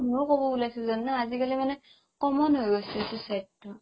ময়ো ক'ব ওলাইছিলো জানানে আজিকালি মানে common হৈ গৈছে suicide টো